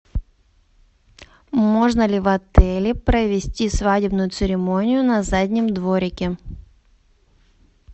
можно ли в отеле провести свадебную церемонию на заднем дворике